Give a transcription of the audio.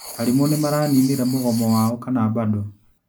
Arimũ nĩmaraninire mũgomo wao kana bado?